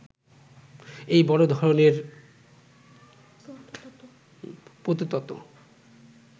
এই বড় ধরনের প্রতœতত্